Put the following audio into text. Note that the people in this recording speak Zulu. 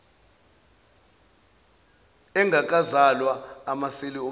engakazalwa amaseli omsuka